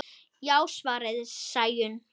Já, svarar Sæunn.